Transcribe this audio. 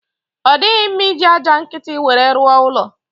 Ọ dighị mma iji aja nkiti nwere rụọ ụlọ